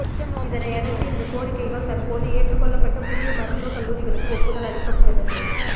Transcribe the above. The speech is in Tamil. இதனையடுத்து இந்த கோரிக்கைகள் தற்போது ஏற்றுக்கொள்ளப்பட்டு புதிய மருத்துவ கல்லூரிகளுக்கு ஒப்புதல் அளிக்கப்பட்டுள்ளது